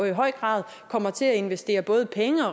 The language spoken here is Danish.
i høj grad kommer til at investere både penge